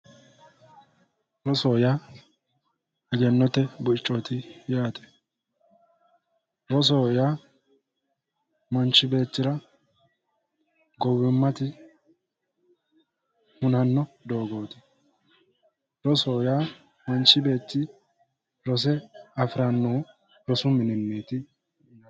rosoho yaa egennote buichooti yaate rosoho yaa manchi beettira gowimma hunanno doogooti rosoho yaa manchi beetti rose afirannohu rosu mininniiti